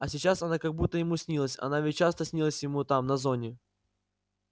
а сейчас она как будто ему снилась она ведь часто снилась ему там на зоне